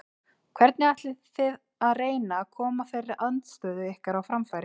Hvernig ætlið þið að reyna að koma þeirri andstöðu ykkar á framfæri?